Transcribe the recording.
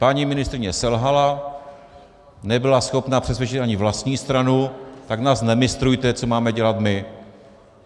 Paní ministryně selhala, nebyla schopna přesvědčit ani vlastní stranu, tak nás nemistrujte, co máme dělat my.